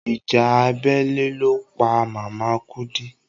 Ìjà abẹ́lé ló pa màmá Kúdí.